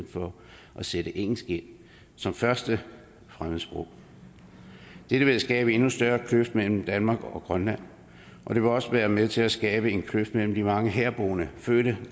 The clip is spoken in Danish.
sætte engelsk ind som første fremmedsprog det vil skabe en endnu større kløft mellem danmark og grønland og det vil også være med til at skabe en kløft mellem de mange herboende